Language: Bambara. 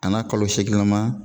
A n'a kalo seegin lama